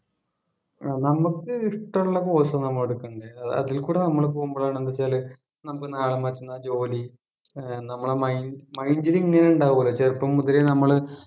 നമുക്ക് ഇഷ്ടമുള്ള course നമ്മൾ എടുക്കേണ്ടെ അതിൽക്കൂടെ നമ്മൾ പോകുമ്പോഴാണ് എന്ത് വെച്ചാല് നമുക്ക് നാളെ മറ്റന്നാ ജോലി ഏർ നമ്മുടെ മൈ mind ലു ഇങ്ങനെ ഉണ്ടാവുമല്ലോ ചെറുപ്പം മുതലേ നമ്മൾ